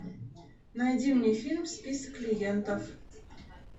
найди мне фильм список клиентов